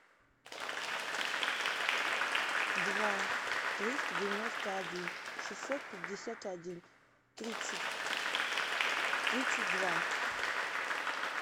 два триста девяносто один шестьсот пятьдесят один тридцать тридцать два